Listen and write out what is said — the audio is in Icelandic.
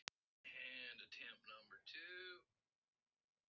Kobbi dró djúpt að sér andann.